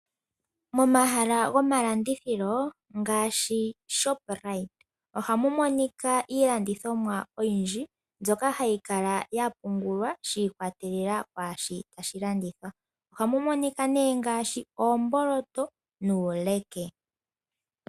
Momahala gomalandithilo ngaashi Shoprite ohamu monika iilandithomwa oyindhi mbyoka hayi kala ya pungulwa shiikwatelela kwaashi tashi landithwa, ohamu monika ne ngaashi oomboloto nuuleke.